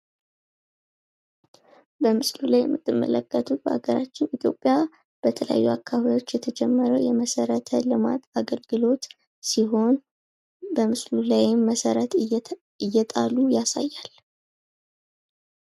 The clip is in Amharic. በምስሉ ላይ የምትመለከቱት በሀገራችን ኢትዮጵያ በተለያዩ አካባቢዎች የተጀመረ የመሰረተ ልማት አገልግሎት ሲሆን በምስሉ ላይም መሰረት እየጣሉ ያሳያል ።